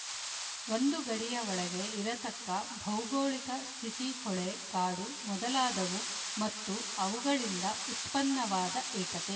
ಒಂದು ಗಡಿಯ ಒಳಗೆ ಇರತಕ್ಕ ಭೌಗೋಳಿಕ ಸ್ಥಿತಿಹೊಳೆ ಕಾಡು ಮೊದಲಾದವು ಮತ್ತು ಅವುಗಳಿಂದ ಉತ್ಪನ್ನವಾದ ಏಕತೆ